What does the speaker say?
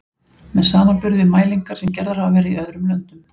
með samanburði við mælingar sem gerðar hafa verið í öðrum löndum.